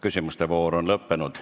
Küsimuste voor on lõppenud.